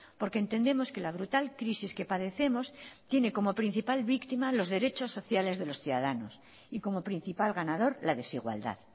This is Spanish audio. porque entendemos que la brutal crisis que padecemos tiene como principal víctima los derechos sociales de los ciudadanos y como principal ganador la desigualdad